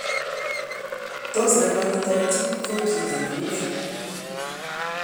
Tos nekonyitot Tij ko chito neune?